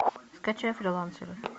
скачай фрилансеры